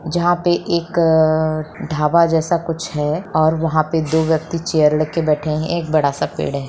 जहाँ पर एक ढाबा जैसा कुछ है और वहाँ पे दो व्यक्ति चेयर लेके बैठे हैं एक बड़ा सा पेड़ है।